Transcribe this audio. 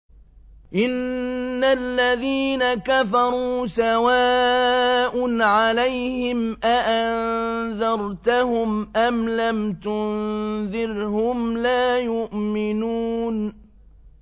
إِنَّ الَّذِينَ كَفَرُوا سَوَاءٌ عَلَيْهِمْ أَأَنذَرْتَهُمْ أَمْ لَمْ تُنذِرْهُمْ لَا يُؤْمِنُونَ